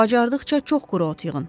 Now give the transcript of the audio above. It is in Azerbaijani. Bacardıqca çox quru ot yığın.